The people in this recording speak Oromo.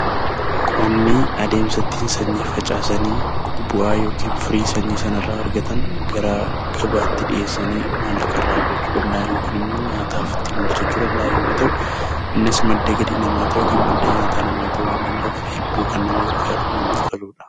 Qonni adeemsa ittiin sanyii facaasanii bu'aa yookiin firii sanyii sana irraa argatan gara gabaatti dhiyeessuun maallaqa irraa argatanii dha yookiin immoo nyaataaf ittiin oolfachuuf kan danda'an yoo ta'u innis madda galii namaa yookiin madda nyaataa namaa ta'uu waan danda'uuf hedduu kan nama gargaaruu fi namatti toluu dha.